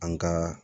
An ka